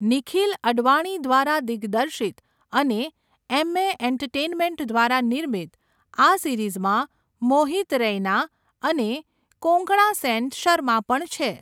નિખિલ અડવાણી દ્વારા દિગ્દર્શિત અને એમ્મે એન્ટરટેઈનમેન્ટ દ્વારા નિર્મિત, આ સિરીઝમાં મોહિત રૈના અને કોંકણા સેન શર્મા પણ છે.